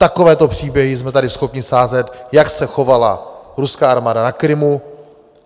Takovéto příběhy jsme tady schopni sázet, jak se chovala ruská armáda na Krymu.